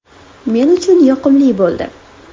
Men uchun yoqimli bo‘ldi.